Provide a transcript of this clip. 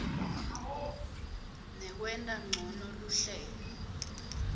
nekwenta ncono luhlelo